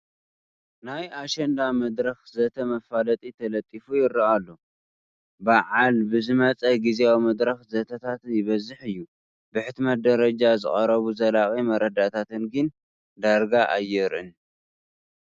ናይ ኣሸንዳ መድረኽ ዘተ መፋለጢ ተለጢፉ ይርአ ኣሎ፡፡ በዓል ብዝመፀ ግዚያዊ መድረኽ ዘተታት ይበዝሕ እዩ፡፡ ብሕትመት ደረጃ ዝቐርቡ ዘላቒ መረዳእታታት ግን ዳርጋ ኣይርአን፡፡